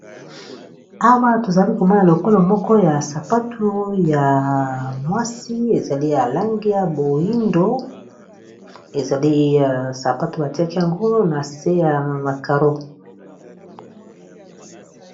Awa tozali komona lokolo moko ya sapatu ya mwasi ezali ya langi ya boyindo ezali sapatu batiaki yango na se ya ba karo.